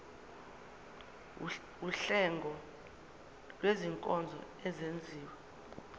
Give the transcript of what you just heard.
wuhlengo lwezinkonzo ezenziwa